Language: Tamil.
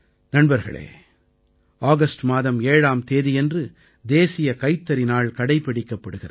நண்பர்களே ஆகஸ்ட் மாதம் 7ஆம் தேதியன்று தேசிய கைத்தறி நாள் கடைப்பிடிக்கப்படுகிறது